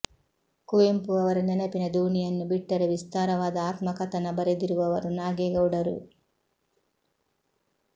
ಕುವೆಂಪು ಅವರ ನೆನಪಿನ ದೋಣಿಯನ್ನು ಬಿಟ್ಟರೆ ವಿಸ್ತಾರವಾದ ಆತ್ಮಕಥನ ಬರೆದಿರುವವರು ನಾಗೇಗೌಡರು